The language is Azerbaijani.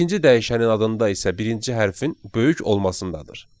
İkinci dəyişənin adında isə birinci hərfin böyük olmasındadır.